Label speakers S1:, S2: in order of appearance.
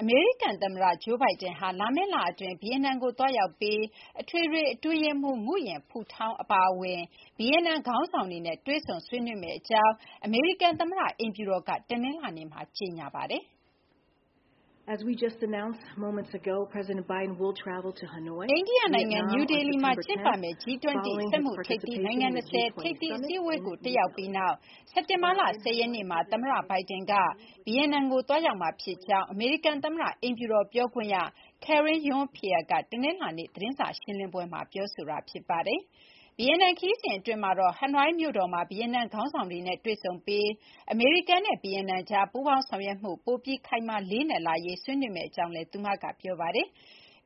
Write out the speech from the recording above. S1: အမေရိကန်သမ္မတ Joe Biden ဟာ လာမယ့်လအတွင်း ဗီယက်နမ်ကို သွားရောက်ပြီး အထွေထွေအတွင်းရေးမှူး Nguyen Phu Trong ၊ နောက် တခြားသော ဗီယက်နမ်ခေါင်းဆောင်တွေနဲ့ တွေ့ဆုံဆွေးနွေးမယ့်အကြောင်း အမေရိကန်သမ္မတအိမ်ဖြူတော်က တနင်္လာနေ့မှာ ကြေညာပါတယ်
S2: ။ အိန္ဒိယနိုင်ငံနယူးဒေလီမှာကျင်းပမယ့် G20 စီးပွါးရေးအင်အားကြီးနိုင်ငံ ၂၀ ထိပ်သီး အစည်းအဝ
S1: ေးကို တက်ရောက်ပြီးနောက် စက်တင်ဘာလ ၁၀ ရက်နေ့မှာ သမ္မတ Biden က ဗီယက်နမ်ကို သွားရောက်မှာဖြစ်ကြောင်း အမေရိကန်သမ္မတအိမ်ဖြူတော်ပြောခွင့်ရ Karine Jean-Pierre က တနင်္လာနေ့ သတင်းစာရှင်းလင်းပွဲမှာ ပြောပါတယ်။ ဗီယက်နမ်ခရီးစဉ်အတွင်းမှာတော့ ဟနွိုင်းမြို့တော်မှာ ဗီယက်နမ်ခေါင်းဆောင်တွေနဲ့တွေ့ဆုံပြီး အမေရိကန်နဲ့ ဗီယက်နမ်ကြား ပူးပေါင်းဆောင်ရွက်မှု ပိုပြီး ခိုင်မာလေးနက်လာရေး ဆွေးနွေးမယ့်အကြောင်းလည်း သူမက ပြောပါတယ်။